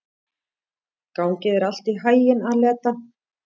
Gangi þér allt í haginn, Aleta.